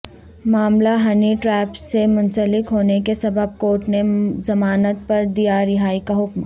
معاملہ honey trap سے منسلک ہونے کے سبب کورٹ نے ضمانت پر دیا رہائی کاحکم